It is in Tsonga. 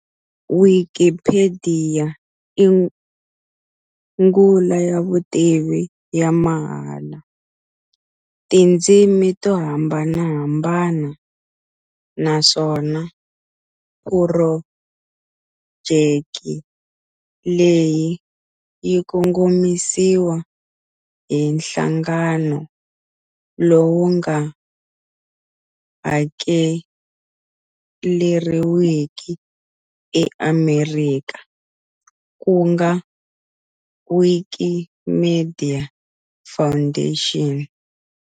Wikipediya i nghula ya vutivi ya mahala, tindzimi to hambanahambana, naswona phurojeki leyi yikongomisiwa hi nhlangano lowu nga hakeleriwiki e Amerika kunga Wikimedia Foundation.